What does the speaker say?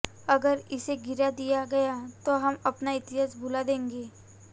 अगर इसे गिरा दिया गया तो हम अपना इतिहास भुला देंगे